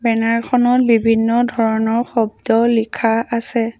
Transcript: Banner খনত বিভিন্ন ধৰণৰ শব্দ লিখা আছে।